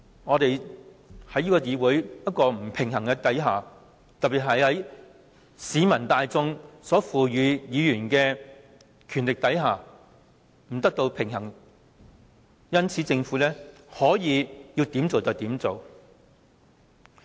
我們在這個不平衡的議會裏，特別在受市民大眾賦予權力的議員席位不能與建制派抗衡的情況下，政府想要怎樣做就怎樣做。